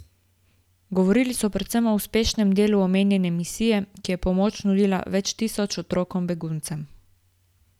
Govorili so predvsem o uspešnem delu omenjene misije, ki je pomoč nudila več tisoč otrokom beguncem.